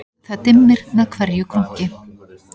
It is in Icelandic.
Það dimmir með hverju krunki